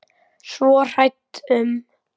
Svo hrædd um.